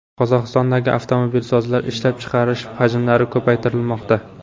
Qozog‘istondagi avtomobilsozlar ishlab chiqarish hajmlarini ko‘paytirmoqda.